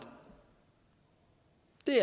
det